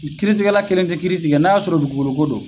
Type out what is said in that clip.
Kiiritigɛla kelen tɛ kiiri tigɛ n'a y'a sɔrɔ dugukolo ko don.